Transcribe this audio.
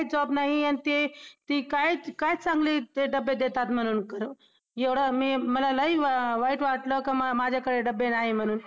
जीवनाला स्पर्श करणाऱ्या इतर विषयांपेक्षा माझ्या हातून पावसा संबंधित जरा जास्तच कविता लिहिल्या गेल्या. किंबहुना असेही असेल की पावसाळ्यात माझ्या प्रतिभेला